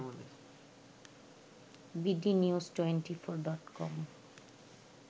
BD news twenty four dot com